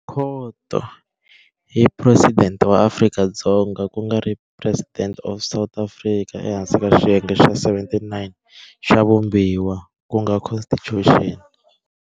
Khoto, hi presidente wa Afrika-Dzonga ku nga President of South Africa ehansi ka xiyenge xa 79 xa Vumbiwa ku nga Constitution.